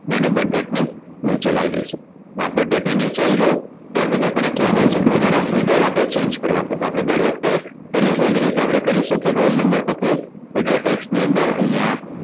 ને એને Birth date ની નચે લાયી દઈશું જ્યાં Birth date ની નીચે આઈ ગયું ત્યાર પછી આપણ ને કહેવામાં આવ્યું છે કે બધાને header આપણે Change કરવા છે તો આપણે દર વખતે કરીએ છે એ રીતે કરીશું કે રોલ નંબર પર પકડી header tax ની અંદર અહીંયા